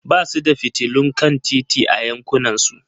Ba su da fitilun kan titi a yankunansu.